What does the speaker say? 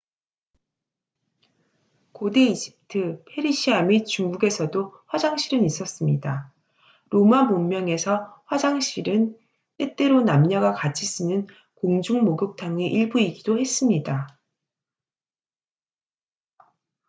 고대 이집트 페르시아 및 중국에서도 화장실은 있었습니다 로마 문명에서 화장실은 때때로 남녀가 같이 쓰는 공중목욕탕의 일부이기도 했습니다